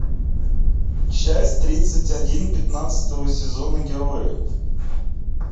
часть тридцать один пятнадцатого сезона герои